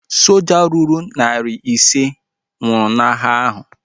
Soja ruru narị ise nwụrụ n'agha ahu